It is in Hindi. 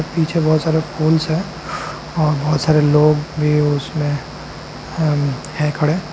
पीछे बहोत सारे फूल्स हैं और बहुत सारे लोग भी उसमें हैं खड़े।